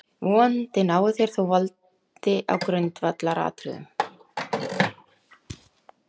Vonandi náið þér þó valdi á grundvallaratriðum.